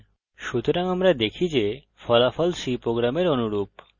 সুতরাং আমরা দেখি যে ফলাফল c program অনুরূপ